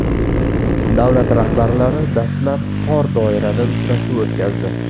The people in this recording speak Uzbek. Davlat rahbarlari dastlab tor doirada uchrashuv o‘tkazdi.